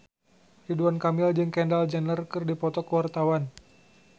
Ridwan Kamil jeung Kendall Jenner keur dipoto ku wartawan